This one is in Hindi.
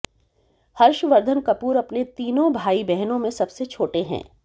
हर्षवर्धन कपूर अपने तीनों भाई बहनों में सबसे छोटे हैं